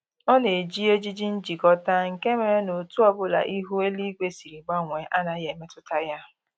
Ọ na-eji ejiji njikọta, nke mere na otu ọbụla ihu eluigwe siri gbanwee anaghị emetụta ya